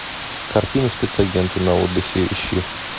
картина спецагенты на отдыхе ищи